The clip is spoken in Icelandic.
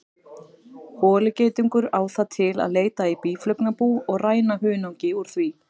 Holugeitungur á það til að leita í býflugnabú og ræna hunangi úr því.